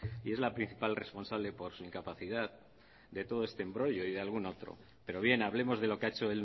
y es la principal responsable por su incapacidad de todo este embrollo y de algún otro pero bien hablemos de lo que ha hecho